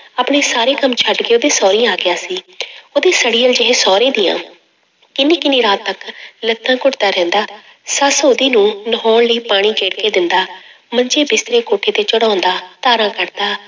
ਆਪਣੇ ਸਾਰੇ ਕੰਮ ਛੱਡ ਕੇ ਉਹਦੇ ਸਹੁਰੀ ਆ ਗਿਆ ਸੀ ਉਹਦੇ ਸੜੀਅਲ ਜਿਹੇ ਸਹੁਰੇ ਦੀਆਂ ਕਿੰਨੀ ਕਿੰਨੀ ਰਾਤ ਤੱਕ ਲੱਤਾਂ ਘੁੱਟਦਾ ਰਹਿੰਦਾ, ਸੱਸ ਉਹਦੀ ਨੂੰ ਨਹਾਉਣ ਲਈ ਪਾਣੀ ਗੇੜ ਕੇ ਦਿੰਦਾ, ਮੰਜੇ ਬਿਸਤਰੇ ਕੋਠੇ ਤੇ ਚੜ੍ਹਾਉਂਦਾ, ਧਾਰਾਂ ਕੱਢਦਾ।